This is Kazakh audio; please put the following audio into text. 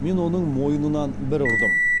мен оның мойнынан бір ұрдым